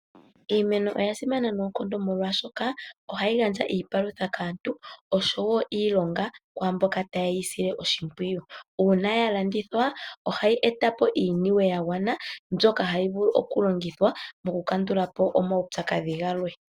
Iimeno oya simana noonkondo molwashoka ohayi gandja iipalutha kaantu, osho wo iilonga kwaamboka tayeyi sile oshimpwiyu. Uuna ya landithwa, ohayi e ta po iiniwe yagwana mbyoka hayi vulu okulongithwa mokukandula po omaupyakadhi galwe.